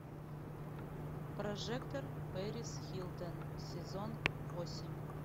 прожекторперисхилтон сезон восемь